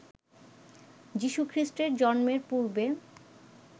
যিশুখ্রীষ্টের জন্মের পূর্বে